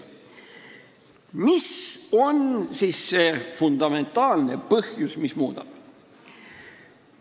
Mis on siis see fundamentaalne põhjus, miks muuta?